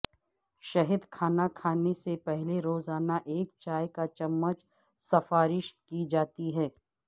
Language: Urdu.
شہد کھانا کھانے سے پہلے روزانہ ایک چائے کا چمچ سفارش کی جاتی ہے